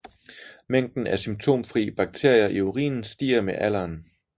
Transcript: Mængden af symptomfri bakterier i urinen stiger med alderen